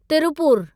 Tiruppur